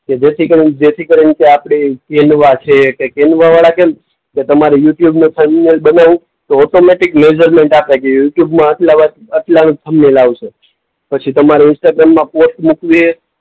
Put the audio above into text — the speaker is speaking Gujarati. કે જેથી કરીને, જેથી કરીને આપણી છે, વાળા કેમ કે તમારે યુટયુબનું થંબમેઈલ બનાવું તો ઑટોમૅટિક મેજરમેન્ટ આપે કે યુટ્યુબમાં આટલા, આટલાનું થંબમેઈલ આવશે. પછી તમારે ઇન્સ્ટાગ્રામમાં પોસ્ટ મૂકવી